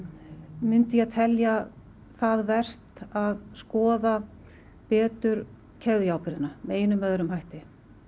myndi ég telja það vert að skoða betur með einum eða öðrum hætti